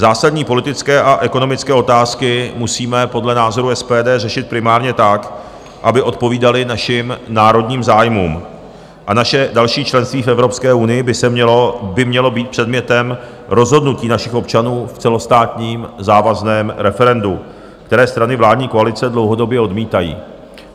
Zásadní politické a ekonomické otázky musíme podle názoru SPD řešit primárně tak, aby odpovídaly našim národním zájmům, a naše další členství v Evropské unii by mělo být předmětem rozhodnutí našich občanů v celostátním závazném referendu, které strany vládní koalice dlouhodobě odmítají.